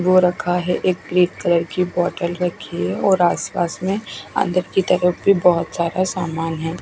वो रखा है एक क्रिप कलर की बोटल रखी है और आस पास में अन्दर की तरफ भी बोहोत सारा सामन है।